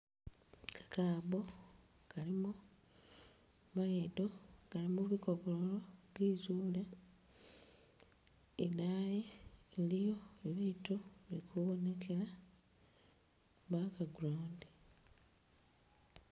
Aka kaabo, kalimo maido, gali mubikokolo gizule idaayi iliyo biitu bili kubonekela mu background.